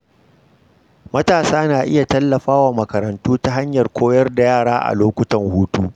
Matasa na iya tallafa wa makarantu ta hanyar koyar da yara a lokutan hutu.